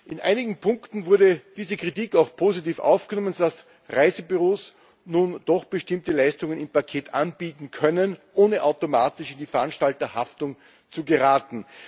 In einigen Punkten wurde diese Kritik auch positiv aufgenommen, so dass Reisebüros nun doch bestimmte Leistungen im Paket anbieten können, ohne automatisch in die Veranstalterhaftung zu geraten.